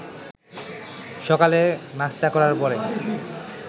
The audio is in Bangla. সকালে নাশতা করার পরে